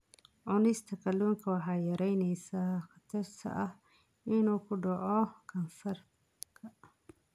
Cunista kalluunka waxay yaraynaysaa khatarta ah inuu ku dhaco kansarka.